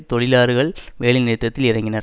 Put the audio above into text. தொழிலாளர்கள் வேலைநிறுத்தத்தில் இறங்கினர்